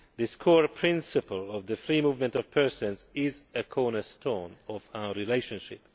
This core principle of the free movement of persons is a cornerstone of our relationship.